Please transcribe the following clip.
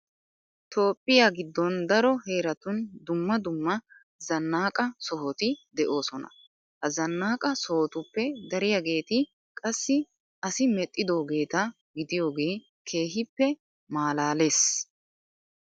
Toophphiya giddon daro heeratun dumma dumm dumma zannaqa sohoti de'oosona. Ha zannaqa sohotuppe dariyageeti qassi asi medhdhidoogeeta gidiyogee keehippe maalaalees.